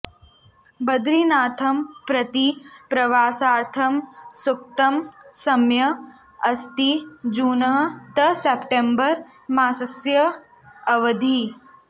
बदरीनाथं प्रति प्रवासार्थं सूक्तः समयः अस्ति जून् तः सेप्टम्बर् मासस्य अवधिः